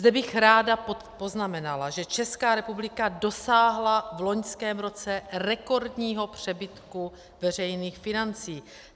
Zde bych ráda poznamenala, že Česká republika dosáhla v loňském roce rekordního přebytku veřejných financí.